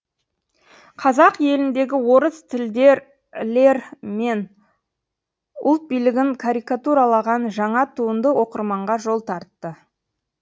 қазақ еліндегі орыс тілділер мен ұлт билігін карикатуралаған жаңа туынды оқырманға жол тартты